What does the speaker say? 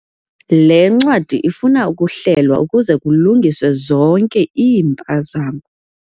Le ncwadi ifuna ukuhlelwa ukuze kulungiswe zonke iimpazamo.